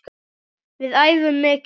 Við æfum mikið.